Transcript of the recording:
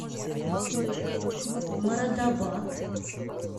морадабад